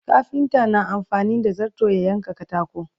kafinta na amfani da zarto ya yanka katako